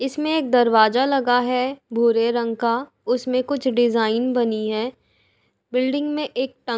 इसमें एक दरवाजा लगा है भूरे रंग का उसमें कुछ डिजाइन बनी है। बिल्डिंग मे एक --